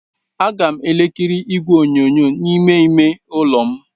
Aga m ekiri igwe onyonyo n'ime ime ụlọ m.